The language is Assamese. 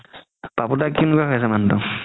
পাপু দা